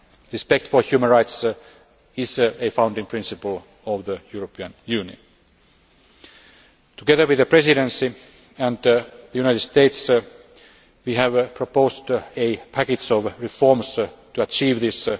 Rights. Respect for human rights is a founding principle of the European Union. Together with the Presidency and the United States, we have proposed a package of reforms to achieve